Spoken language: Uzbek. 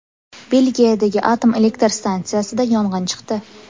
Belgiyadagi atom elektr stansiyasida yong‘in chiqdi.